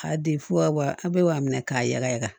K'a di fo ka wa bi wɔɔrɔ minɛ k'a ya